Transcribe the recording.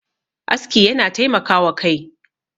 aski yana taimaka wa Kai